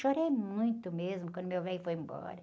Chorei muito mesmo quando meu velho foi embora.